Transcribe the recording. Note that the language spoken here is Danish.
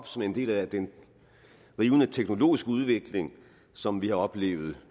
som en del af den rivende teknologiske udvikling som vi har oplevet